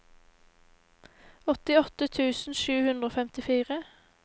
åttiåtte tusen sju hundre og femtifire